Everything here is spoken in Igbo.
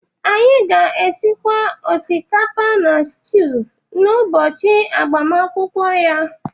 anyị ga-esikwa osikapa na stew n’ụbọchị agbamakwụkwọ ya